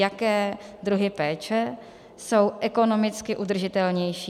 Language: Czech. Jaké druhy péče jsou ekonomicky udržitelnější.